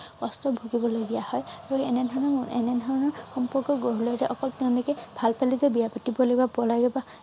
কষ্ট ভুগিব লগীয়া হয় আৰু এনেধৰণৰ এনেধৰণৰ সম্পৰ্ক গঢ়লৈ উঠে অকল তেওঁলোকে ভাল পালে যে বিয়া পাতিব লাগিব পলাই